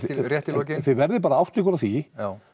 rétt í lokin þið verið bara átta ykkur á því